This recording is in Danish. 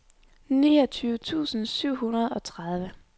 niogtyve tusind syv hundrede og tredive